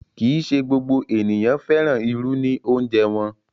Kí í ṣé gbogbo ènìyàn fẹ́ràn irù ní òunjẹ̀ wọn.